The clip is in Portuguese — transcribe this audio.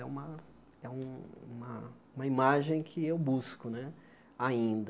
É uma é um uma imagem que eu busco né ainda.